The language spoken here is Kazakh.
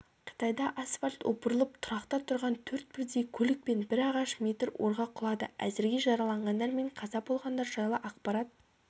қытайда асфальт опырылып тұрақта тұрған төрт бірдей көлік пен бір ағаш метр орға құлады әзірге жараланғандар мен қаза болғандар жайлы ақпарат